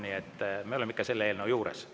Nii et me oleme ikka selle eelnõu juures.